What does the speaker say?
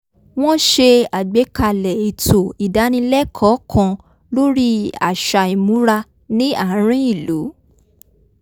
wọ́n s̩e àgbékalè̩ ètò ìdánilẹ́kọ̀ọ́ kan lórí àṣà ìmúra ní àárín ìlú